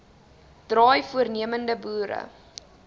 draai voornemende boere